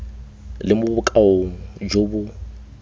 le mo bokaong jo bo